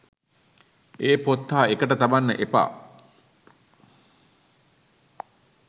ඒ පොත් හා එකට තබන්න එපා